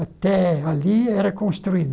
Até ali era construído.